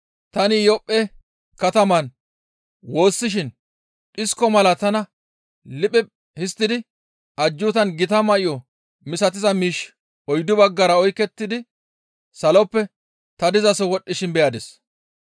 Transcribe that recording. «Tani Iyophphe kataman woossishin dhisko mala tana liphiphi histtidi ajjuutan gita may7o misatiza miishshi oyddu baggara oykettidi saloppe ta dizaso wodhdhishin beyadis.